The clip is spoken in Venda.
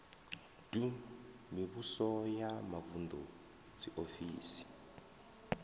ḓu mivhuso ya mavuṋdu dziofisi